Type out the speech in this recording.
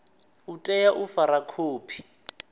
u tea u fara khophi